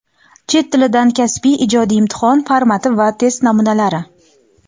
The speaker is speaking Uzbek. Chet tilidan kasbiy (ijodiy) imtihon formati va test namunalari.